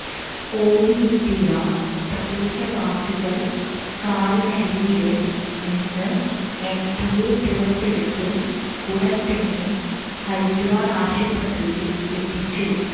ഓടിയെത്തിയ പ്രദേശവാസികൾ കാറിനടിയില് നിന്ന് എംപിയെ പുറത്തെടുത്ത് ഉടൻ തന്നെ ഹരിദ്വാർ ആശുപത്രിയിൽ എത്തിച്ചു